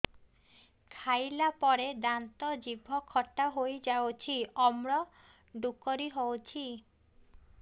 ଖାଇଲା ପରେ ଦାନ୍ତ ଜିଭ ଖଟା ହେଇଯାଉଛି ଅମ୍ଳ ଡ଼ୁକରି ହଉଛି